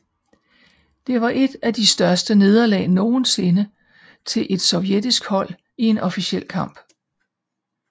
Det var et af de største nederlag nogensinde til et et sovjetisk hold i en officiel kamp